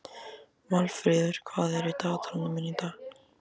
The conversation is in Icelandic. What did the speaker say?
Valfríður, hvað er í dagatalinu mínu í dag?